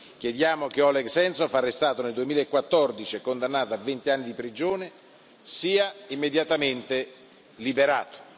Chiediamo che Oleg Sentsov, arrestato nel 2014 e condannato a venti anni di prigione, sia immediatamente liberato.